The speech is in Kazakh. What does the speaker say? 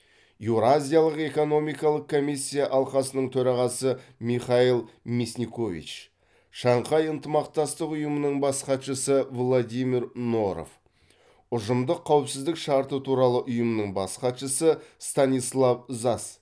еуразиялық экономикалық комиссия алқасының төрағасы михаил мясникович шанхай ынтымақтастық ұйымының бас хатшысы владимир норов ұжымдық қауіпсіздік шарты туралы ұйымның бас хатшысы станислав зась